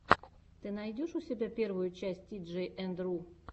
ты найдешь у себя первую часть тиджей энд ру